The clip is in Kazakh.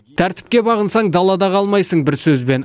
тәртіпке бағынсаң далада қалмайсың бір сөзбен